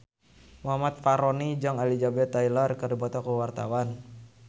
Muhammad Fachroni jeung Elizabeth Taylor keur dipoto ku wartawan